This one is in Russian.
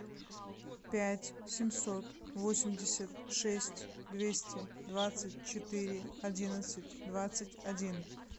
пять семьсот восемьдесят шесть двести двадцать четыре одиннадцать двадцать один